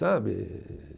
Sabe?